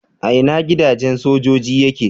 A ina gidajen sojoji yake?